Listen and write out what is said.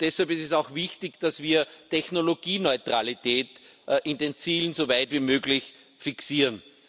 Deshalb ist es auch wichtig, dass wir Technologieneutralität in den Zielen so weit wie möglich fixieren.